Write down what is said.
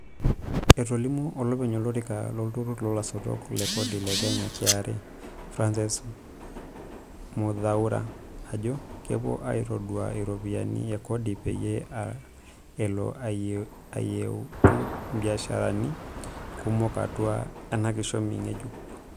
Etolimuo olopeny olorika lo nturur loolasotok le kodi le Kenya (KRA) Francis Muthaura, ajoo kepuu aitadou iropiyiani e kodi peyie elo ayieutu ibiasharani kumok atua ena kishomi ngejuk.